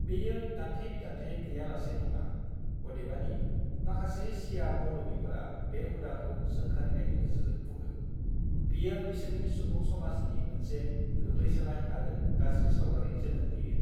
बेयो दान्थे-बिदान्थे गैयालासे नङा, अदेबानि, माखासे शिया मौलविफोरा बे हुदाखौ सोंखारिनायनि गेजेरजों बुङो "बेयो बिसोरनि सुबुं-समाजनि मोनसे गोग्लैसोनाय आरो गाज्रि सावगारि जोनोम होयो।"